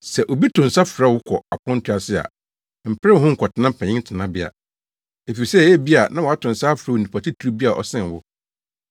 “Sɛ obi to nsa frɛ wo kɔ aponto ase a, mpere wo ho nkɔtena mpanyin tenabea, efisɛ ebia na wato nsa afrɛ onipa titiriw bi a ɔsen wo.